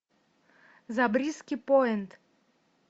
забриски пойнт